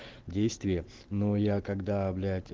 действие но я когда блять